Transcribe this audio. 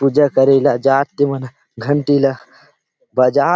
पूजा करे ला जात ते मन घंटी ला बजात --